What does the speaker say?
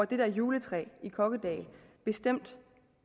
det der juletræ i kokkedal bestemt